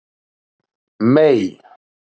Mey